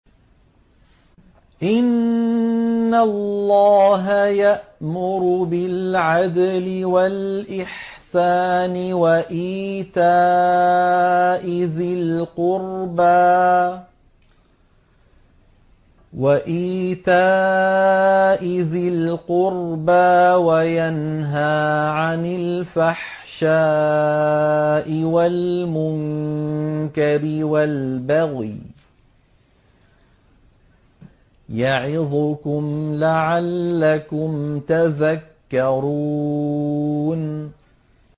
۞ إِنَّ اللَّهَ يَأْمُرُ بِالْعَدْلِ وَالْإِحْسَانِ وَإِيتَاءِ ذِي الْقُرْبَىٰ وَيَنْهَىٰ عَنِ الْفَحْشَاءِ وَالْمُنكَرِ وَالْبَغْيِ ۚ يَعِظُكُمْ لَعَلَّكُمْ تَذَكَّرُونَ